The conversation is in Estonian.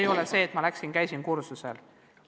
Ei ole nii, et ma läksin kohale ja käisin kursusel.